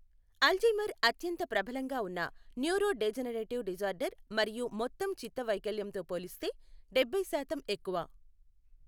Alzheimer అత్యంత ప్రబలంగా ఉన్న న్యూరోడెజెనరేటివ్ డిజార్డర్ మరియు మొత్తం చిత్త వైకల్యంతో పోలిస్తే డబ్బై శాతం ఎక్కువ.